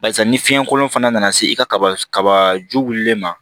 Barisa ni fiɲɛ kolon fana nana se i ka kaba kaba ju wulilen ma